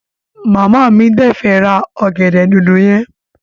Mama mi de fẹ́ ra ọgẹ̀dẹ̀ dòdò yẹn.